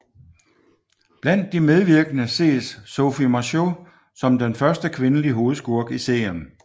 Blandt de andre medvirkende ses Sophie Marceau som den første kvindelige hovedskurk i serien